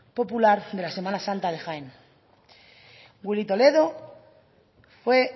popular de la semana santa de jaén willy toledo fue